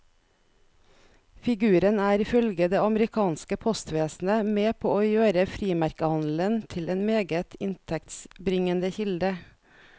Figuren er ifølge det amerikanske postvesenet med på å gjøre frimerkehandelen til en meget inntektsbringende kilde.